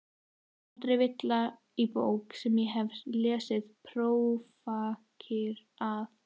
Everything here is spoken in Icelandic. Aldrei villa í bók sem ég hef lesið prófarkir að.